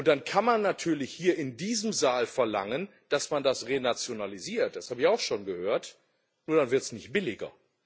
Dann kann man natürlich hier in diesem Saal verlangen, dass man das renationalisiert das habe ich auch schon gehört nur wird es dann nicht billiger.